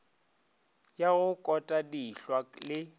ya go kota dihlwa le